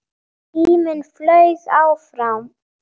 Tíminn flaug áfram.